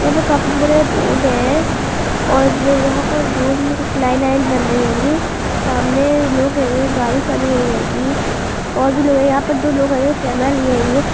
एनो काफी बड़े रोड हैं और जो यहाँ पर रोड मैं कुछ लाइन वाइन बन रही हेगी सामने लोग हैं यह गाडी खड़ी हुई हेगी और बजी लोग हैं दो लोग हैं और कैमरा लिए हेंगी।